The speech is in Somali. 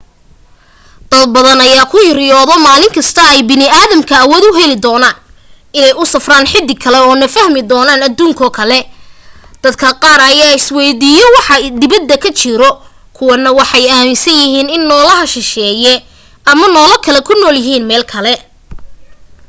dad badan ayaa ku riyoodo maalinka ay bani'aadamka awood u heli doonaan inay u safraan xidig kale oo na sahmin doonaan aduuno kale dad qaarkooda ayaa isweydiiyo waxa dibadda ka jiro kuwa na waxay aaminsan yihiin in noolaha shisheeye ama noola kale ku nool yihiin meel kale